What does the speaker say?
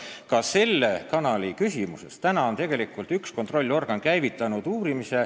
Ka selle kanali küsimuses on tegelikult üks kontrollorgan algatanud uurimise.